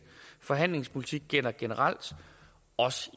forhandlingspolitik gælder generelt også